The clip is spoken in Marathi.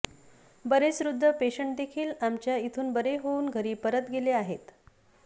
बरेच वृद्ध पेशंटदेखील आमच्या इथून बरे होऊन घरी परत गेले आहेत